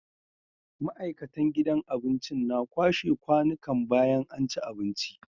ma'aikatan gidan abincin na kwashe kwanikan bayan anci abinci